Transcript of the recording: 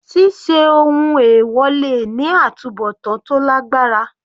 Ṣíṣe ohun èwọ̀ le ní àtubọ̀tán tó lágbára.